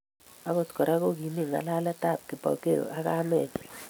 Akot Kora kokimi ngalaletab Kipokeo ak kamenyi